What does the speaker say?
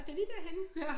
Ej det er lige derhenne